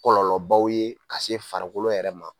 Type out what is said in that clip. Kɔlɔlɔbaw ye ka se farikolo yɛrɛ ma.